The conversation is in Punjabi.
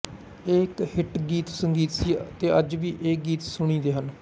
ਇਹ ਇੱਕ ਹਿੱਟ ਗੀਤਸੰਗੀਤ ਸੀ ਅਤੇ ਅੱਜ ਵੀ ਇਹ ਗੀਤ ਸੁਣੀਂਦੇ ਹਨ